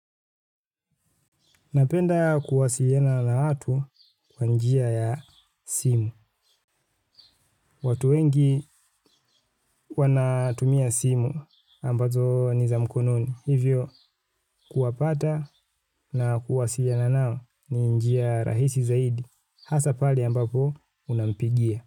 Napenda kuwasiliana na watu kwa njia ya simu. Watu wengi wanatumia simu ambazo ni za mkononi. Hivyo, kuwapata na kuwasiliana nao ni njia rahisi zaidi. Hasa pali ambapo unampigia.